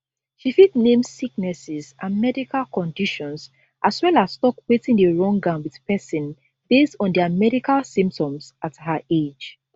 she fit name sicknesses and medical conditions as well as tok wetin dey wrong am with pesin based on dia medical symptoms at her age